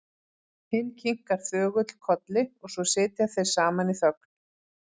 Hinn kinkar þögull kolli og svo sitja þeir saman í þögn.